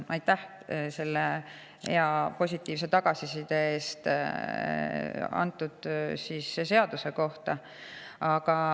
Aitäh selle hea, positiivse tagasiside eest!